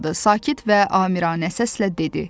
Sakit və amiranə səslə dedi: